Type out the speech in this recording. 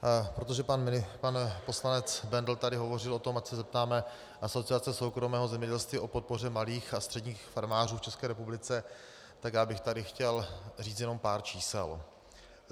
Protože pan poslanec Bendl tady hovořil o tom, ať se zeptáme Asociace soukromého zemědělství o podpoře malých a středních farmářů v České republice, tak já bych tady chtěl říct jen pár čísel.